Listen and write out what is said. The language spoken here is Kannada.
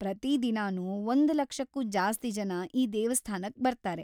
ಪ್ರತಿದಿನನೂ ಒಂದ್ ಲಕ್ಷಕ್ಕೂ ಜಾಸ್ತಿ ಜನ ಈ ದೇವಸ್ಥಾನಕ್‌ ಬರ್ತಾರೆ.